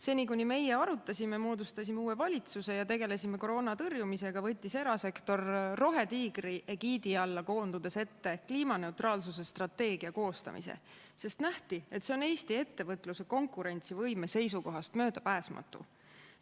Seni, kuni meie arutasime, moodustasime uue valitsuse, tegelesime koroona tõrjumisega, võttis erasektor rohetiigri egiidi alla koondudes ette kliimaneutraalsuse strateegia koostamise, sest nähti, et see on Eesti ettevõtluse konkurentsivõime seisukohast möödapääsmatu.